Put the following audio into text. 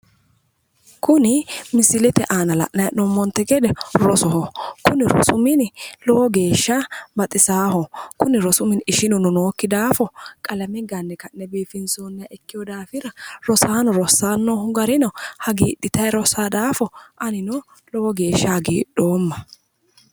kuni misilete aana la'nanni hee'noommonte gede rosoho kuni rosu mini lowo geeshsha baxisaaho kuni rosu mini ishinuno nookki daafo qalame ganne ka'ne biifinsoonni daafira rosaano rossanni noo garino hagiidhitanni rossanno daafo anino lowo geeshsha hagiidhoomma.